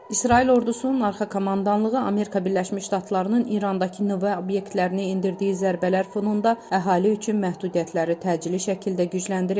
İsrail ordusunun arxa komandanlığı Amerika Birləşmiş Ştatlarının İrandakı nüvə obyektlərinə endirdiyi zərbələr fonunda əhali üçün məhdudiyyətləri təcili şəkildə gücləndirib.